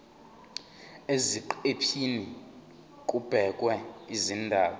eziqephini kubhekwe izindaba